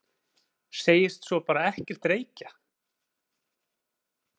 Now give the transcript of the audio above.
Segist svo bara ekkert reykja!?!?